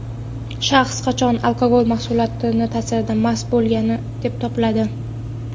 Shaxs qachon alkogol mahsulot taʼsirida mast bo‘lgan deb topiladi?.